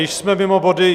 Již jsme mimo body.